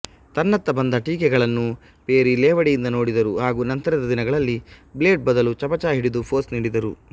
ತನ್ನತ್ತ ಬಂದ ಟೀಕೆಗಳನ್ನು ಪೆರಿ ಲೇವಡಿಯಿಂದ ನೋಡಿದರು ಹಾಗೂ ನಂತರದ ದಿನಗಳಲ್ಲಿ ಬ್ಲೇಡ್ ಬದಲು ಚಮಚ ಹಿಡಿದು ಪೋಸ್ ನೀಡಿದರು